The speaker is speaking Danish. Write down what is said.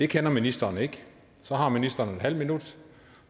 kender ministeren ikke så har ministeren en halv minut